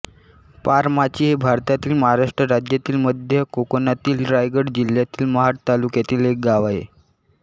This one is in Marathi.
पारमाची हे भारतातील महाराष्ट्र राज्यातील मध्य कोकणातील रायगड जिल्ह्यातील महाड तालुक्यातील एक गाव आहे